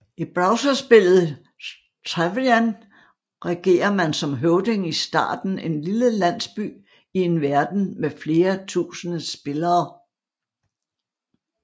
I browserspillet Travian regerer man som høvding i starten en lille landsby i en verden med flere tusinde spillere